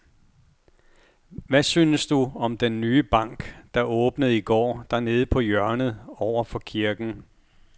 Hvad synes du om den nye bank, der åbnede i går dernede på hjørnet over for kirken?